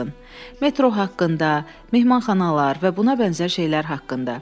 "Metro haqqında, mehmanxanalar və buna bənzər şeylər haqqında."